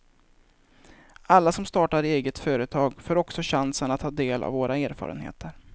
Alla som startar eget företag får också chansen att ta del av våra erfarenheter.